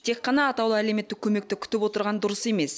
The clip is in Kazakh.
тек қана атаулы әлеуметтік көмекті күтіп отырған дұрыс емес